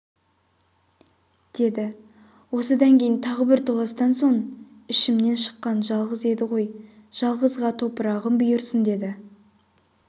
деді осыдан кейін тағы бір толастан соң ішімнен шыққан жалғыз еді ғой жалғызға топырағым бұйырсын деді